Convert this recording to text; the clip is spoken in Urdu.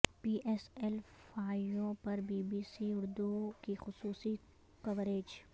پی ایس ایل فائیو پر بی بی سی اردو کی خصوصی کوریج